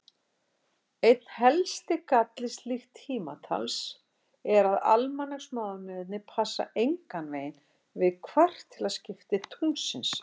Einn helsti galli slíks tímatals er að almanaksmánuðirnir passa engan veginn við kvartilaskipti tunglsins.